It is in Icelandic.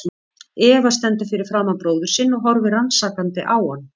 Eva stendur fyrir framan bróður sinn og horfir rannsakandi á hann.